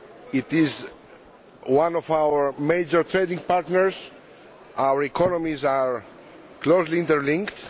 It is one of our major trading partners and our economies are closely interlinked.